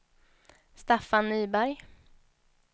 Staffan Nyberg